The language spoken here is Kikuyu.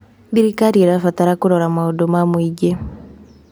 Thirikari ĩrabatara kũrora mũndũ ma mũingĩ.